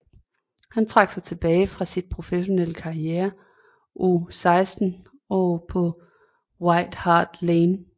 Han trak sig tilbage fra sin professionelle karriere o 16 år på White Hart Lane